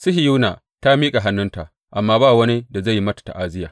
Sihiyona ta miƙa hannunta, amma ba wani da zai yi mata ta’aziyya.